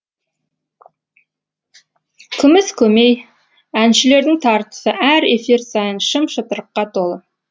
күміс көмей әншілердің тартысы әр эфир сайын шым шытырыққа толы